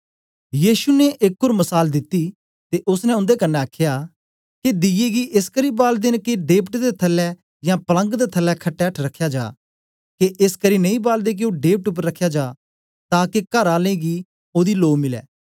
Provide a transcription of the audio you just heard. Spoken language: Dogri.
यीशु ने एक ओर मसाल दिती ते ओसने उन्दे कन्ने आखया के दीये गी एसकरी बालदे दे न के ढेपट दे थल्लै यां पलंग दे थल्लै खट्टे एठ रखया जा के एसकरी नेई बालदे के ओ ढेपट उपर रखया जा ताके कर आलें गी ओदी लो मिलै